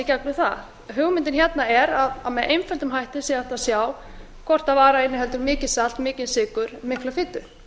gegnum það hugmyndin hérna er að með einföldum hætti sé hægt að sjá hvort vara inniheldur mikið salt mikinn sykur mikla fitu